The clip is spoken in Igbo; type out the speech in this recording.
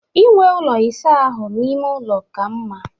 Inwe ụlọ ịsa ahụ n'ime ụlọ ka mma